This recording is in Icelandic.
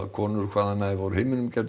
konur hvaðanæva úr heiminum geti